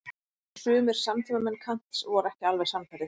En sumir samtímamenn Kants voru ekki alveg sannfærðir.